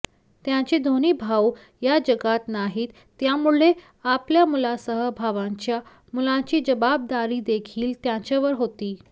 त्यांचे दोन्ही भाऊ या जगात नाहीत त्यामुळे आपल्या मुलासह भावांच्या मुलांची जबाबदारीदेखील त्यांच्यावर होती